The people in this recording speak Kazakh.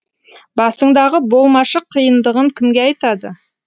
басыңдағы болмашы қиындығын кімге айтады